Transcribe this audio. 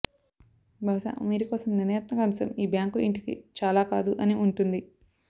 బహుశా మీరు కోసం నిర్ణయాత్మక అంశం ఈ బ్యాంకు ఇంటికి చాలా కాదు అని ఉంటుంది